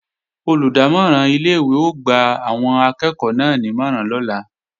Olùdámọ̀ràn ilé-ìwé ó gba àwọn akẹ́ẹ̀kọ́ náà nímọ̀ràn lọ́la